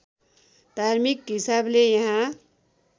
धार्मिक हिसाबले यहाँ